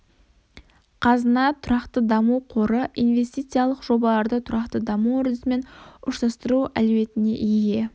қазына тұрақты даму қоры инвестиялық жобаларды тұрақты даму үрдісімен ұштастыру әлеуетіне ие